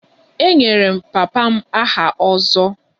E nyere papa m aha 'ozo'